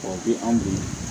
O bi anw bolo